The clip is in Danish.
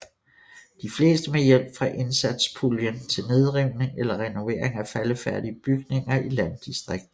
De fleste med hjælp fra indsatspuljen til nedrivning eller renovering af faldefærdige bygninger i landdistrikter